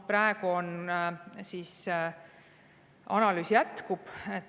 Praegu analüüs jätkub.